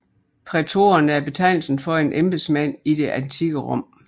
Prætoren er betegnelsen for en embedsmand i det antikke Rom